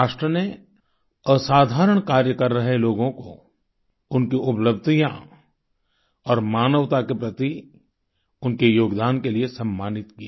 राष्ट्र ने असाधारण कार्य कर रहे लोगों को उनकी उपलब्धियाँ और मानवता के प्रति उनके योगदान के लिए सम्मानित किया